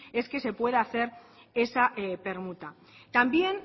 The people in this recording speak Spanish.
es que se pueda hacer esa permuta también